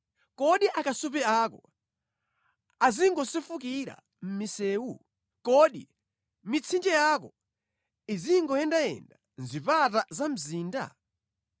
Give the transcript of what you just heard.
Kodi akasupe ako azingosefukira mʼmisewu? Kodi mitsinje yako izingoyendayenda mʼzipata za mzinda?